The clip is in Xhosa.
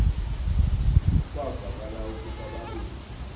kwavakala ukuba babini